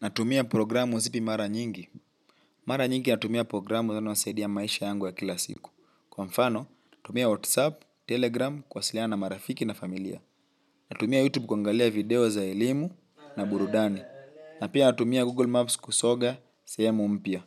Natumia programu zipi mara nyingi. Mara nyingi natumia programu inayo saidia maisha yangu ya kila siku. Kwa mfano, natumia WhatsApp, Telegram, kuwasiliana na marafiki na familia. Natumia YouTube kuangalia video za elimu na burudani. Na pia natumia Google Maps kusoga, sehemu mpya.